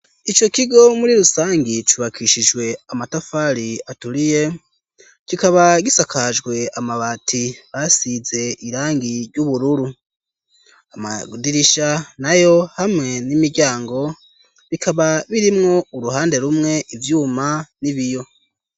Ico kigo muri rusangi cubakishijwe amatafari aturiye kikaba gisakajwe amabati asize irangi ry'ubururu amadirisha nayo hamwe n'imiryango bikaba birimwo uruhande rumwe ivyuma n'ibiyo.